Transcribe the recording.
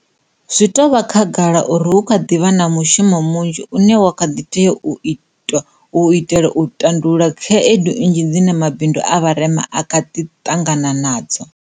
Zwi tou vha khagala uri hu kha ḓi vha na mushumo mnzhi une wa kha ḓi tea u itwa u itela u tandulula khaedu nnzhi dzine mabindu a vharema a kha di ṱangana nadzo.